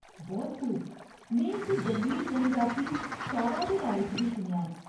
बोहत खूब ! में इक जंगली जनजाति सौरा दे बारे च बी सुनेआ ऐ।